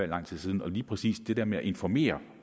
lang tid siden og lige præcis det der med at informere